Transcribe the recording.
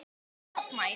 Oftast nær